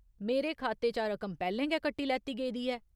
मेरे खाते चा रकम पैह्‌लें गै कट्टी लैत्ती गेदी ऐ।